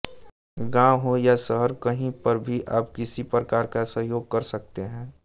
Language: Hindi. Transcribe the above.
गाँव हो या शहर कहीं पर भी आप किसी प्रकार का सहयोग कर सकते हैं